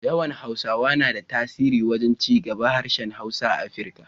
Yawan Hausawa na da tasiri wajen cigaban harshen Hausa a Afirika.